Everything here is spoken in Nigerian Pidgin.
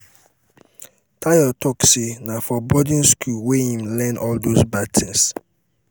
tayo talk say na for boarding school wey im learn all doz bad things